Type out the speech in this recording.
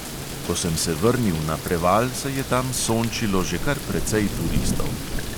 Ko sem se vrnil na preval, se je tam sončilo že kar precej turistov.